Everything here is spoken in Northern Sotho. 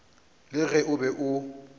le ge o be o